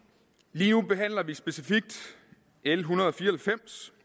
lige nu behandler vi specifikt l en hundrede og fire